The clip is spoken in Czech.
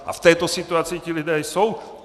A v této situaci ti lidé jsou.